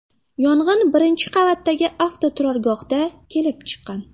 Yong‘in birinchi qavatdagi avtoturargohda kelib chiqqan.